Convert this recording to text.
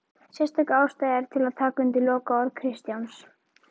Sérstök ástæða er til að taka undir lokaorð Kristjáns